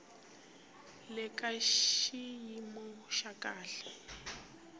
le ka xiyimo xa kahle